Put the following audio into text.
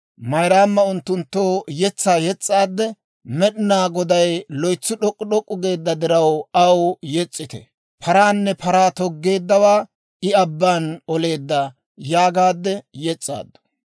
Mayraama unttunttoo yetsaa yes's'aadde, «Med'inaa Goday loytsi d'ok'k'u d'ok'k'u geedda diraw, aw yes's'ite. Paraanne paraa toggeeddaawaa I abbaan oleedda» yaagaadde yes's'aaddu.